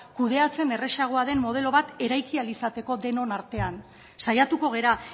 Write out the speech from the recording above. kudeatzen erreza den modelo bat eraiki ahal izateko denon artean saiatuko gara